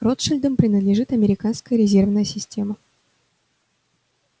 ротшильдам принадлежит американская резервная система